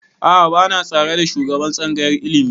A'a ba na tare da shugaban tsangayar ilimi